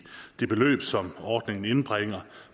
det beløb som ordningen indbringer